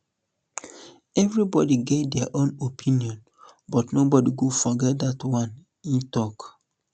everybody get dia own opinion but nobody go forget dat one e tok